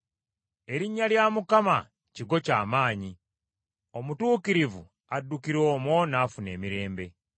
Erinnya lya Mukama kigo ky’amaanyi, omutuukirivu addukira omwo n’afuna emirembe.